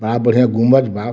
बा बढ़िया गुंबज बा।